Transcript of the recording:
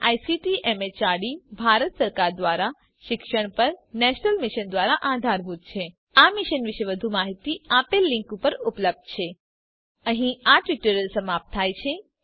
જે ICT MHRD Bharat સરકાર દ્વારા શિક્ષણ પર નેશનલ મિશન દ્વારા આધારભૂત છે આ મિશન વિશે વધુ માહીતી આ લીંક ઉપર ઉપલબ્ધ છે httpspoken tutorialorgNMEICT Intro અહીં આ ટ્યુટોરીયલ સમાપ્ત થાય છે